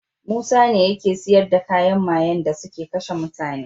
Musa ne yake siyar da kayan mayen dasuke kashe mutane